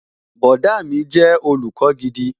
Bọ̀dá mi jẹ́ olùkọ́ gidi